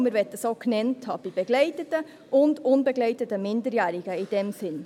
Wir möchten sie genannt haben – bei begleiteten und bei unbegleiteten Minderjährigen, in diesem Sinn.